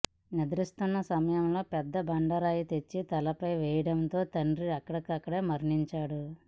నిద్రిస్తున్న సమయంలో పెద్దబండరాయి తెచ్చి తలపై వేయడంతో తండ్రి అక్కడికక్కడే మరణించాడు